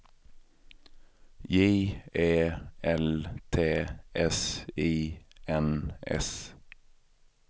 J E L T S I N S